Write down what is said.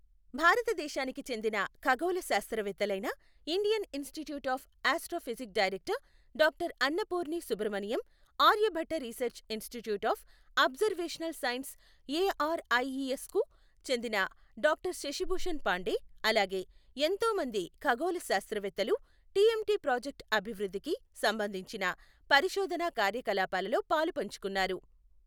భారతదేశానికి చెందిన ఖగోళ శాస్త్రవేత్తలైన Indian Institute of Astrophysics director doctor Annapurni Subramaniam, Aryabhatta Research Institute of Observational Sciences ARIES కు చెందిన డాక్టర్ శశిభూషణ్ పాండే, అలాగే ఎంతో మంది ఖగొళ శాస్త్రవేత్తలు టిఎంటి ప్రాజెక్టు అభివృద్ధికి సంబంధించిన పరిశొధన కార్యకలాపాలలో పాలుపంచుకున్నారు.